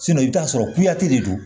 i bɛ t'a sɔrɔ de do